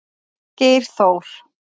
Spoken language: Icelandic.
Geir Þór.